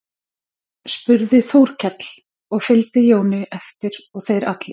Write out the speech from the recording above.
spurði Þórkell og fylgdi Jóni eftir og þeir allir.